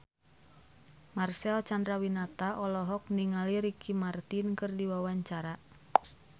Marcel Chandrawinata olohok ningali Ricky Martin keur diwawancara